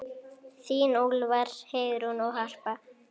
Þín Úlfar, Heiðrún og Harpa.